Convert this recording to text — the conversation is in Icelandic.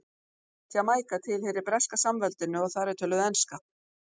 Jamaíka tilheyrir Breska samveldinu og þar er töluð enska.